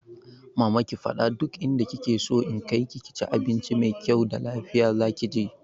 Mama ki fada duk inda kike so na kaiki ki ci abincin mai kyau da lafiya, zaki je?